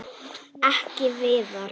Ekki Viðar.